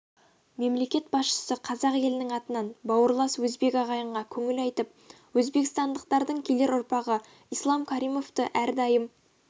мемлекет басшысы қазақ елінің атынан бауырлас өзбек ағайынға көңіл айтып өзбекстандықтардың келер ұрпағы ислам каримовті әрдайым